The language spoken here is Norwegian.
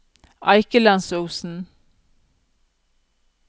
Eikelandsosen